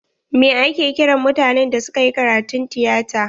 Mai ake kiran mutanen da suka yi karatun tiyata?